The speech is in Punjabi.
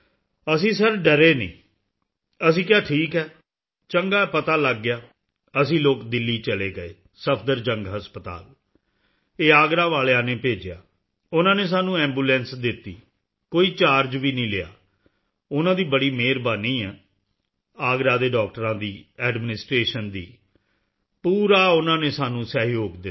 ਅਸੀਂ ਸਿਰ ਡਰੇ ਨਹੀਂ ਅਸੀਂ ਕਿਹਾ ਠੀਕ ਹੈ ਚੰਗਾ ਹੈ ਪਤਾ ਲੱਗ ਗਿਆ ਅਸੀਂ ਲੋਕ ਦਿੱਲੀ ਚਲੇ ਗਏ ਸਫਦਰਜੰਗ ਹਸਪਤਾਲ ਇਹ ਆਗਰਾ ਵਾਲਿਆਂ ਨੇ ਭੇਜਿਆ ਉਨ੍ਹਾਂ ਨੇ ਸਾਨੂੰ ਐਂਬੂਲੈਂਸ ਦਿੱਤੀ ਕੋਈ ਚਾਰਜ ਨਹੀਂ ਲਿਆ ਉਨ੍ਹਾਂ ਦੀ ਬੜੀ ਮੇਹਰਬਾਨੀ ਏ ਆਗਰਾ ਦੇ ਡਾਕਟਰਾਂ ਦੀ ਐਡਮਿਨਿਸਟ੍ਰੇਸ਼ਨ ਦੀ ਪੂਰਾ ਉਨ੍ਹਾਂ ਨੇ ਸਾਨੂੰ ਸਹਿਯੋਗ ਦਿੱਤਾ